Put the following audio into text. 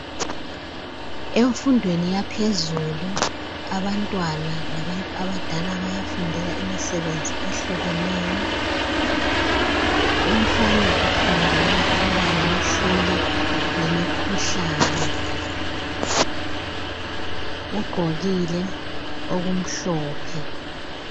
Emfundweni yaphezulu abantwana labantu abadala bayafundela imisebenzi ehlukeneyo. Umfana ufundela ukuba ngumhloli wemikhuhlane ,ugqokile okumhlophe.